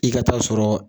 I ka taa sɔrɔ